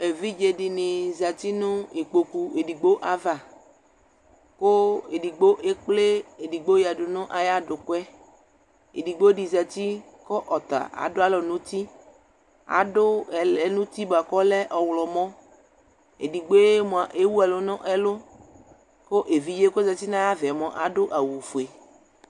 Evidzedɩnɩ zati nʋ ikpoku edigbo ava ;kʋ edigbo ekple edigbo yǝdu nʋ ayadʋkʋɛ Edigbodɩ zati kʋ ɔta adʋalɔ n'uti , adʋ ɛlɛnuti bʋa k'ɔlɛ ɔɣlɔmɔ Edigboe mʋa ewuɛkʋ nʋ ɛlʋ ; kʋ evidzee k'ozati n'ayavaɛ mʋa adʋ awʋfue